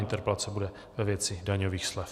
Interpelace bude ve věci daňových slev.